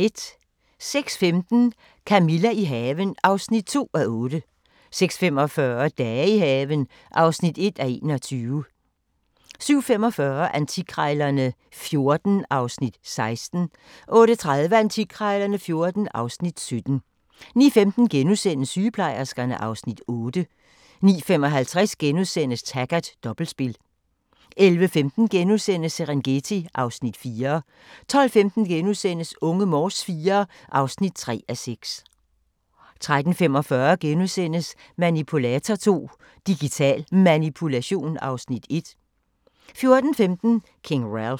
06:15: Camilla – i haven (2:8) 06:45: Dage i haven (1:21) 07:45: Antikkrejlerne XIV (Afs. 16) 08:30: Antikkrejlerne XIV (Afs. 17) 09:15: Sygeplejerskerne (Afs. 8)* 09:55: Taggart: Dobbeltspil * 11:15: Serengeti (Afs. 4)* 12:15: Unge Morse IV (3:6)* 13:45: Manipulator II – Digital Manipulation (Afs. 1)* 14:15: King Ralph